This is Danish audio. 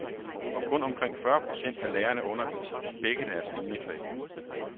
Og kun omkring fyrre procent af lærerne underviser i begge deres liniefag.